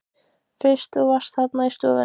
Fyrst þú varst þarna í stofunni.